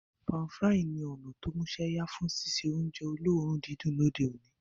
Pan-frying ní o músẹ́yá fun síse ounje olóòrun didùn lóde oní